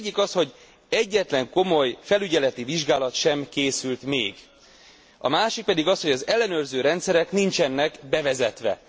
Az egyik az, hogy egyetlen komoly felügyeleti vizsgálat sem készült még, a másik pedig az, hogy az ellenőrző rendszerek nincsenek bevezetve.